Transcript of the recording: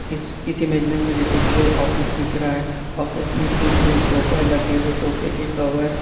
इस इस इमेज में मुझे एक ऑफिस दिख रहा है ऑफिस में कुछ सोफे लगे हुए सोफे के कवर --